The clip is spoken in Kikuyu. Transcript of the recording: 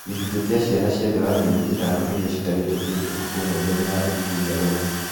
Gĩcunjĩ kĩa ciana cia thĩ wa mĩeri ĩtano iria citarĩte kĩndũ ũtukũ ũmwe mbele ya ũthuthuria ũyũ